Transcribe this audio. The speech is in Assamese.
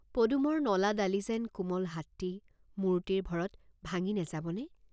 পদুমৰ নলা ডালি যেন কোমল হাতটি মূৰটিৰ ভৰত ভাঙি নেযাব নে?